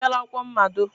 Ị bịchala akwụkwọ mmado?